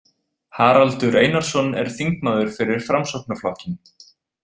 Haraldur Einarsson er þingmaður fyrir Framsóknarflokkinn.